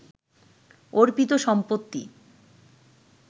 অর্পিত সম্পত্তি